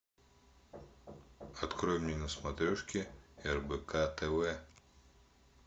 открой мне на смотрешке рбк тв